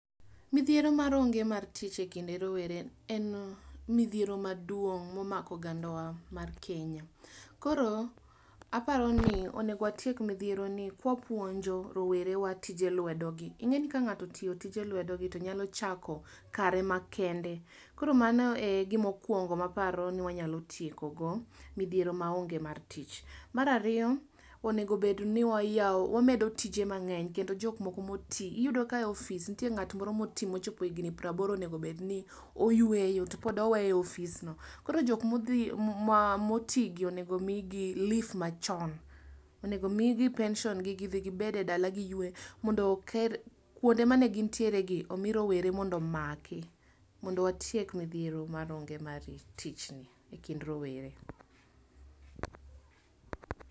Midhiero mar onge mar tich ekinde rowere en midhiero maduong momako ogandawa mar Kenya. Koro aparoni onego watiek midhiero ni ka wapuonj rowere wa tije lwedo gi. Ingeni ka ngato otiyo tije lwedogi to nyalo chako kare ma kende koro mano e gima aporo mokuongo ma wanyalo tieko midhiero maonge mar tich. Mar ariyo onego obed ni wayao, wamedo tije mangeny kendo jok moko motii . Iyudo ka e ofis iyudo ka ngat moro ma otii mochopo higni praboro onego obedni oyweyo topod oweye e ofisno. Koro jokma otii gi onego omigi leave machon, onego omigi pension gi gidhi gibed e dala giywe, mondo kuonde magintiere gi omi rowere mondo watiek onge mar tich ni ekind rowere